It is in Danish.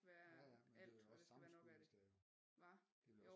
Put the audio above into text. Ja ja men det er også sammenskud hvis det